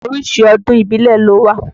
Oríṣi ọdún ìbílẹ̀ ló wà.